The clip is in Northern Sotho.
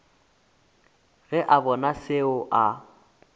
ge a bona seo a